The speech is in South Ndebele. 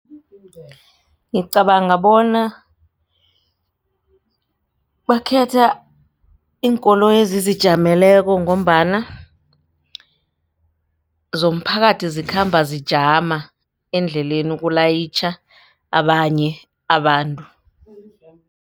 Ngicabanga bona bakhetha iinkoloyi ezizijameleko ngombana zomphakathi zikhamba zijama endleleni ukulayitjha abanye abantu.